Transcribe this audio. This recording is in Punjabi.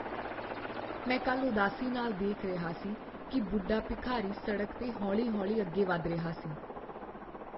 ਮੈਂ ਕੱਲ੍ਹ ਉਦਾਸੀ ਨਾਲ ਦੇਖ ਰਿਹਾ ਸੀ ਕਿ ਬੁੱਢਾ ਭਿਖਾਰੀ ਸੜਕ 'ਤੇ ਹੌਲੀ ਹੌਲੀ ਅੱਗੇ ਵੱਧ ਰਿਹਾ ਸੀ